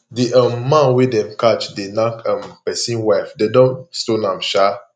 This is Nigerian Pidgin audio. the um man wey dem catch dey knack um person wife dem don stone am um